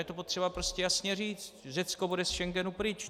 Je to potřeba prostě jasně říct: Řecko bude ze Schengenu pryč.